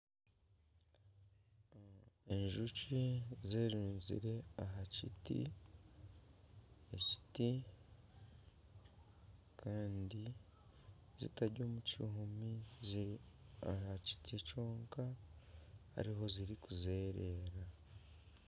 Enjoki zerunzire aha kiti kandi zitari omu kihumi ziri aha kiti kyonka zirikuzerera.